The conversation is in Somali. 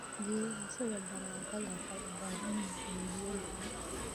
Geedaha sida baradhada waxay u baahan yihiin biyo badan.